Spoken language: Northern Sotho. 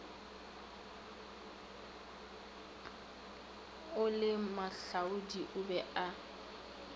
o le moahlodi o be